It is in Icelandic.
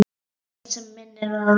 Ekkert sem minnir á Rósu.